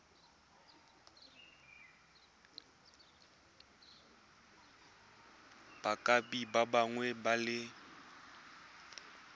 bopaki bongwe le bongwe jo